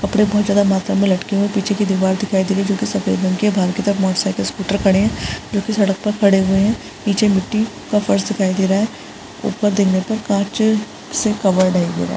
कपडे बोहोत ज्यादा मात्रा में लटके हुए है पीछे की दीवाल दिखाई दे रही है जो कि सफ़ेद रंग की है बहार की तरफ मोटरसायकल स्कूटर खड़े है जो कि सड़क पर खड़े हुए है पीछे मिट्टी का फर्श दिखाई दे रहा है ऊपर देखने पे कांच से कबर्ड है ये बा --